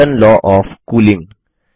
Newton law of cooling